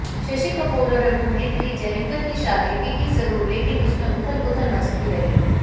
शशि कपूर और अभिनेत्री जेनिफर की शादी टिकी जरूर लेकिन उसमें उथल पुथल मचती रही